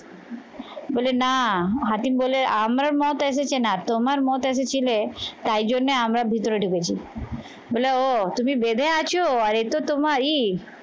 বলে না হাতিম বলে আমার মত এসেছে না তোমার মত এসেছিলে তাই জন্যে আমরা ভিতরে ঢুকেছি বলো ও তুমি বেঁধে আছো আর এ তো তোমারি